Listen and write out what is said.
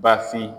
Bafin